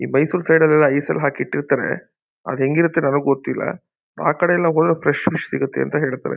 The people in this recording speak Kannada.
ಈ ಮೈಸೂರು ಕಡೆಯೆಲ್ಲ ಐಸ್ ಲ್ಲಿ ಹಾಕಿ ಇಟ್ಟಿರ್ತಾರೆ. ಅದು ಹೆಂಗಿರುತ್ತೆ ನನಗೆ ಗೊತ್ತಿಲ್ಲ. ಆ ಕಡೆಯೆಲ್ಲ ಹೋದ್ರೆ ಫ್ರೆಶ್ ಫಿಶ್ ಸಿಗುತ್ತೆ ಅಂತ ಹೇಳ್ತಾರೆ.